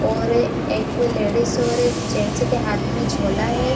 और एक लेडीज और एक जेंट्स के हाथ में झोला है।